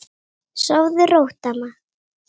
Sofðu rótt, amma.